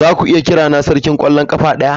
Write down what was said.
Zaku iya kirana sarkin kwallon kafa daya?